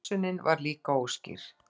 Hugsunin var líka óskýr.